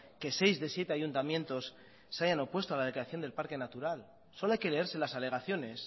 que seis de siete ayuntamientos se hayan opuesto a la declaración del parque natural solo hay que leerse las alegaciones